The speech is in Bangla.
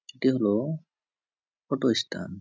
এটি হলো অটো স্ট্যান্ড ।